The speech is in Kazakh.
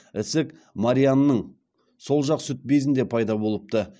ісік марианның сол жақ сүт безінде пайда болыпты